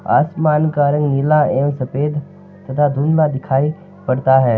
आसमान का रंग नीला एव सफ़ेद तथा धुंदला दिखाय पड़ता है।